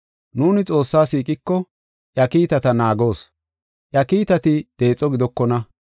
Nuuni Xoossaa siiqiko, iya kiitata naagoos. Iya kiitati deexo gidokona.